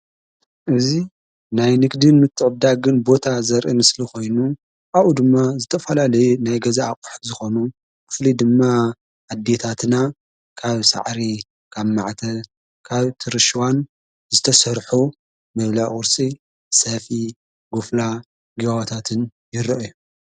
እዙ ናይ ንግድን ምተብዳግን ቦታ ዘርኢም ስሊ ኾይኑ ኣኡ ድማ ዝተፈላለየ ናይ ገዛ ኣቕሕ ዝኾኑ ክፍሊ ድማ ኣዲታትና ካብ ሰዕሪ ካብ ማዕተ ካብ ትርሽዋን ዝተሠርሑ ምብላቝርሲ ሰፊኢ ጉፍላ ጊዋዎታትን ይስርሑ እዮም።